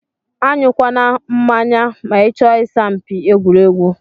Anyu kwana mmanya ma ichọ isa mpi egwuregwu.